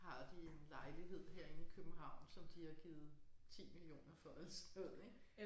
Har de en lejlighed herinde i København som de har givet 10 millioner for eller sådan noget ik